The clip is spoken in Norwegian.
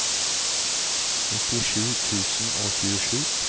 nittisju tusen og tjuesju